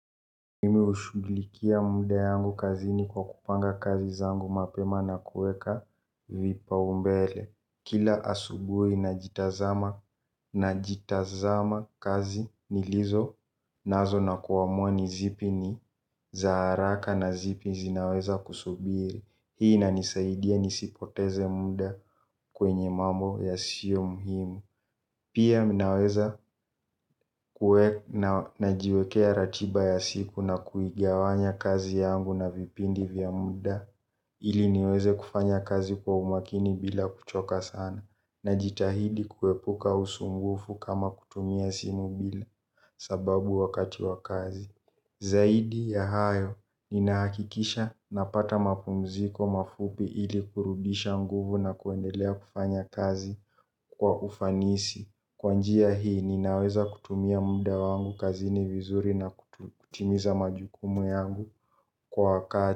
Mimi hushughlikia muda yangu kazi ni kwa kupanga kazi zangu mapema na kuweka vipa umbele. Kila asubui na jitazama na jitazama kazi ni lizo nazo na kuamua nizipi ni za haraka na zipi zinaweza kusubiri. Hii inanisaidia nisipoteze muda, kwenye mamo yasio muhimu. Pia minaweza kuwe na najiwekea ratiba ya siku na kuigawanya kazi yangu na vipindi vya muda, ili niweze kufanya kazi kwa umakini bila kuchoka sana. Na jitahidi kuepuka usungufu kama kutumia simu bila, sababu wakati wa kazi. Zaidi ya hayo, ninaakikisha napata mapumziko mafupi ili kurudisha nguvu na kuendelea kufanya kazi, kwa ufanisi. Kwa njia hii, ninaweza kutumia muda wangu kazini vizuri na kutimiza majukumu yangu, kwa wakati.